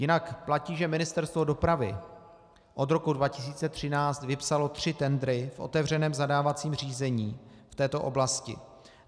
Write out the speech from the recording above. Jinak platí, že Ministerstvo dopravy od roku 2013 vypsalo tři tendry v otevřeném zadávacím řízení v této oblasti.